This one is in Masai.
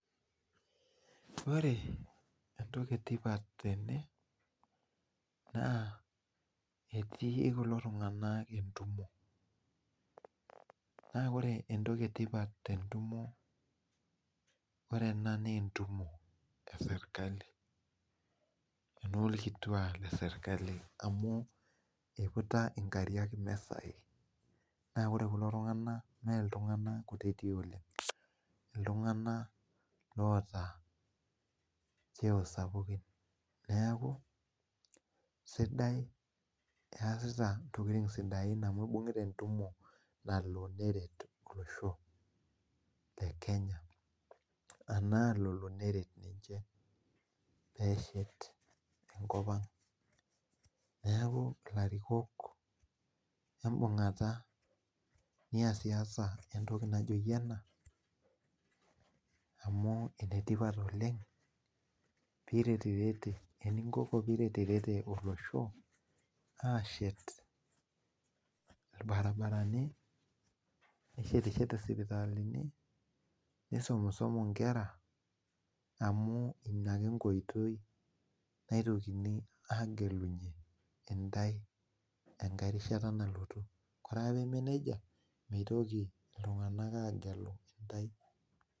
Ore entoki tipat tene na etii kulo tunganak entumo na ore entoki tipat te ndumo na entumo eserkali ena iputa enkare emisa naore kulo tunganak na ltunganak kutitik oleng neaku easita ntokitin sidai oleng neaku easita entoki naret oloshole kenya enkop aang neaku larikok embungata niasaasaentoki naishaa piretrete olosho ashet irbaribarani nishetshete sipitalini nisumiemie nkera amu inake enkoitoi naitokini agelunye ntae enkai rishata nalotukoree ake pamaa nejia mitoki ltunganak agelu ntae.